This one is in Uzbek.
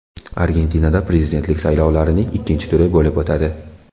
Argentinada prezidentlik saylovlarining ikkinchi turi bo‘lib o‘tadi.